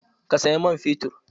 Ka saya man fetur?